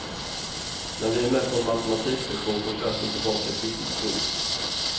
När vi är med på en matematiklektion får klassen tillbaka ett viktigt prov.